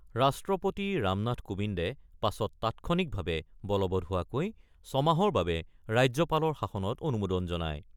ৰাষ্ট্ৰপতি ৰামনাথ কোবিন্দে পাছত তাৎক্ষণিকভাৱে বলবৎ হোৱাকৈ ছমাহৰ বাবে ৰাজ্যপালৰ শাসনত অনুমোদন জনায়।